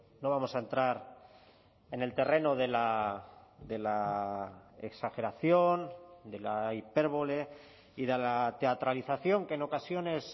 no vamos a entrar en el terreno de la exageración de la hipérbole y de la teatralización que en ocasiones